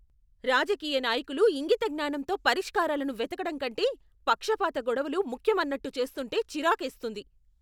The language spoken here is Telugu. రాజకీయ నాయకులు ఇంగిత జ్ఞానంతో పరిష్కారాలను వెతకటం కంటే పక్షపాత గొడవలు ముఖ్యమన్నట్టు చేస్తుంటే చిరాకేస్తుంది.